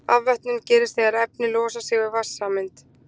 afvötnun gerist þegar efni losa sig við vatnssameind